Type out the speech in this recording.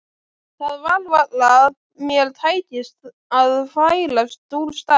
Það var varla að mér tækist að færast úr stað.